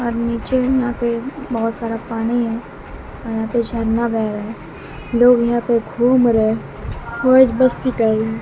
और नीचे यहां पे बहोत सारा पानी है और यहाँ पे झरना बहे रहा लोग यहां पे घूम रहे मौज मस्ती कर रहे--